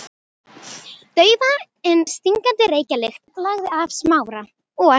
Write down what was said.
Daufa en stingandi reykjarlykt lagði af Smára og